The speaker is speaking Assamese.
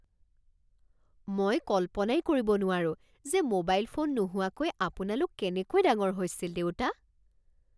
মই কল্পনাই কৰিব নোৱাৰো যে মোবাইল ফোন নোহোৱাকৈ আপোনালোক কেনেকৈ ডাঙৰ হৈছিল দেউতা?